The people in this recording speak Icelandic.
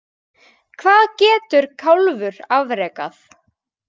Hvað getur kálfur afrekað?